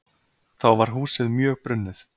Þá var húsið mjög brunnið.